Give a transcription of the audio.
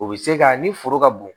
O bɛ se ka ni foro ka bon